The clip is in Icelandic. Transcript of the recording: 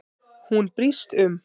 Hún brýst um.